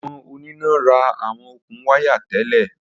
Awọn onina ra awọn okun waya tẹlẹ.